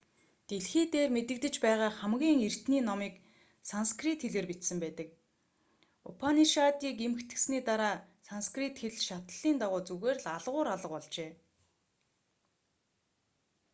дэлхий дээр мэдэгдэж байгаа хамгийн эртний номыг санскрит хэлээр бичсэн байдаг упанишадыг эмхэтгэсний дараа санскрит хэл шатлалын дагуу зүгээр л алгуур алга болжээ